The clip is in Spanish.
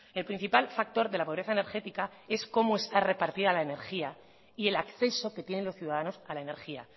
el principal factor de la pobreza energética es cómo está repartida la energía y el acceso que tienen los ciudadanos a la energía